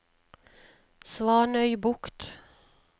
Svanøybukt